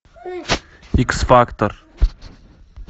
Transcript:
икс фактор